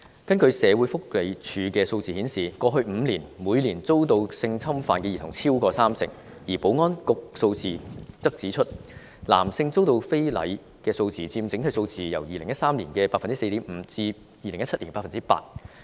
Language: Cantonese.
根據社署的數字，過去5年，每年超過三成兒童遭到性侵犯，而保安局的數字則指出，男性遭到非禮的數字佔整體數字已由2013年的 4.5% 上升至2017年的 8%。